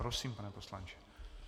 Prosím, pane poslanče.